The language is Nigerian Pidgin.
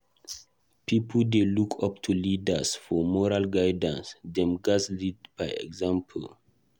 Pipo dey look up to leaders for moral guidance; dem gatz lead by example.